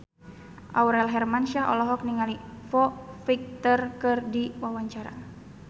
Aurel Hermansyah olohok ningali Foo Fighter keur diwawancara